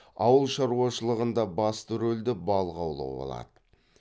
ауылшаруашылығында басты ролді балық аулау алады